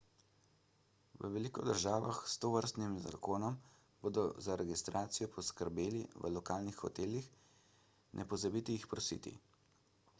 v veliko državah s tovrstnim zakonom bodo za registracijo poskrbeli v lokalnih hotelih ne pozabite jih prositi